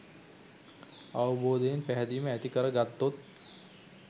අවබෝධයෙන් පැහැදීම ඇති කර ගත්තොත්